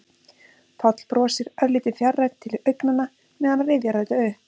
Páll brosir, örlítið fjarrænn til augnanna meðan hann rifjar þetta upp.